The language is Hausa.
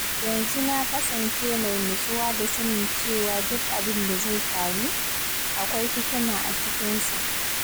Yanzu na kasance mai nutsuwa da sanin cewa duk abin da zai faru, akwai hikima a cikinsa.